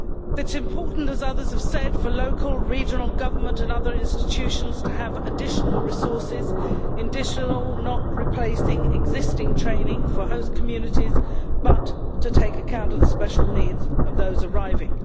It is important, as others have said, for local and regional government and other institutions to have additional resources additional, not replacing existing training for host communities, but in order to take account of the special needs of those arriving.